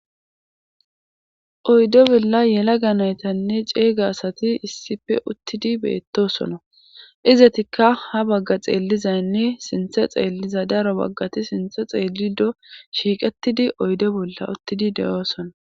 Oyde bolla yela ganaytanne ceeyga asati issife uttidi beettosona izatikka ha bagga xeellizaynne sinthe xeelliza daro baggati sinthe xeelli do shiiqettidi oyde bolla uttidi de7oosona.